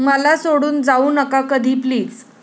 मला सोडून जाऊ नका कधी प्लीज!